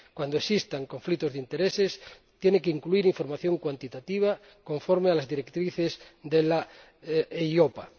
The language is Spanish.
Cuando existan conflictos de intereses, tiene que incluir información cuantitativa, conforme a las directrices de la EIOPA.